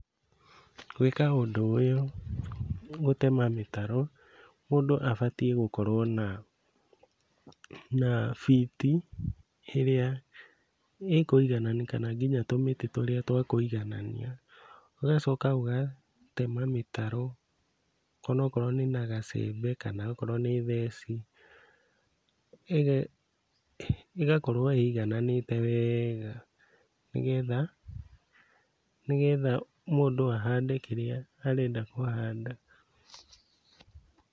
Gwĩka ũndũ ũyũ gũtema mĩtaro, mũndũ abatiĩ gũkorwo na na biti ĩrĩa ĩkũiganania kana kinya tũmĩtĩ tũrĩa twa kũiganania. Ũgacoka ũgatema mĩtaro onokorwo nĩ na gacembe, kana akorwo nĩ theci, ĩgakorwo ĩigananĩte wega, nĩgetha nĩgetha mũndũ ahande kĩrĩa arenda kũhanda.